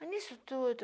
Mas nisso tudo...